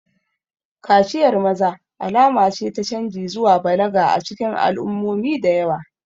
Kaciyar maza alama ce ta canji zuwa balaga a cikin al'ummomi da yawa.